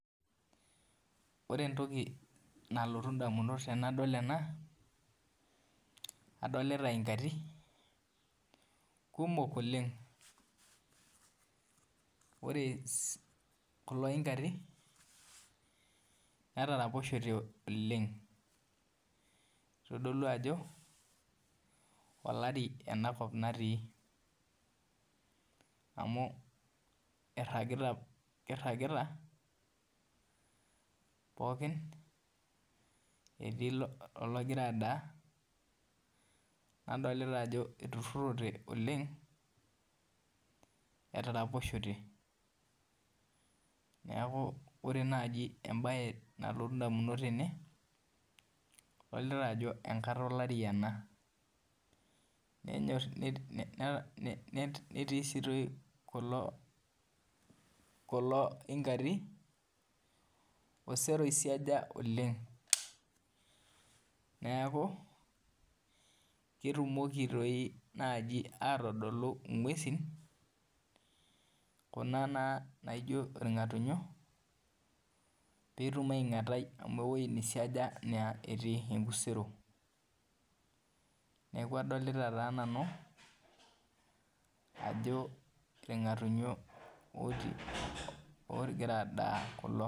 Ore entoki nalotu ndamunot tanadol ena adolita iingati kumok oleng ore kulo ingati netaraposhete oleng itadolu ajo olaribenakop natii amu iragita pooki etii ologira adaa nadolta ajo etaraposhete, neaku ore naji embae nalotu ndamunot tene adolita ajo enkata olari ele netii si kulo ingati osero oisija oleng neaku ketumoki nai atadolu ngwesi kuna nijo irngatunyo amu ewoi naisiaja na etii enkusero neaku adolta nanu ajo irngatunyo ogira adaa kulo.